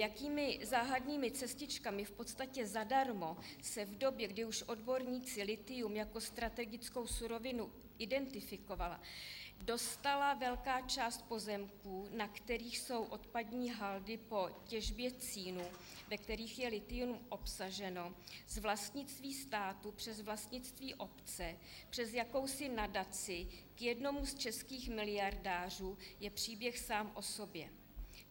Jakými záhadnými cestičkami, v podstatě zadarmo, se v době, kdy už odborníci lithium jako strategickou surovinu identifikovali, dostala velká část pozemků, na kterých jsou odpadní haldy po těžbě cínu, ve kterých je lithium obsaženo, z vlastnictví státu přes vlastnictví obce přes jakousi nadaci k jednomu z českých miliardářů, je příběh sám o sobě.